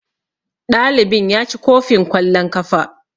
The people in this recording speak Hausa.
Ɗalibin ya ci kofin kwallon kafa.